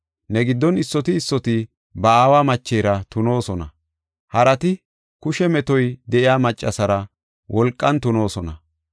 Ne giddon issoti issoti ba aawa machera tunoosona; harati kushe metoy de7iya maccasara wolqan tunisoosona.